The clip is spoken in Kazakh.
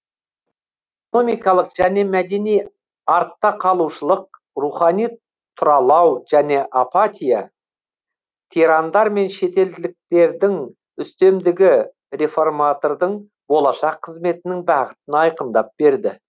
экономикалық және мәдени артта қалушылық рухани тұралау және апатия тирандар мен шетелдіктердің үстемдігі реформатордың болашақ қызметінің бағытын айқындап берді